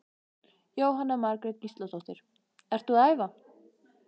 Jóhanna Margrét Gísladóttir: Ertu að æfa?